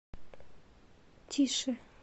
тише